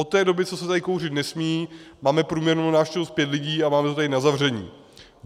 Od té doby, co se tady kouřit nesmí, máme průměrnou návštěvnost pět lidí a máme to tady na zavření.